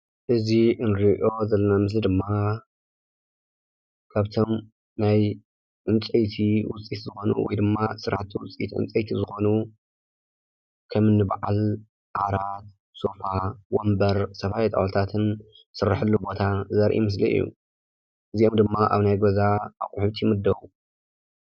እዚ እንሪኦ ዘለና ምስሊ ድማ ካብቶም ናይ ዕንጨይቲ ውፅኢት ዝኾኑ ወይ ድማ ስራሕቲ ውፅኢት ዕንጨይቲ ዝኾኑ ከም እኒ በዓል ዓራት፣ ሶፋ፣ ወንበር፣ ዝተፈላለዩ ጣውላታትን ዝስርሐሉ ቦታ ዘርኢ ምስሊ እዩ፡፡ እዚኦም ድማ ኣብ ናይ ገዛ ኣቑሑት ይምደቡ፡፡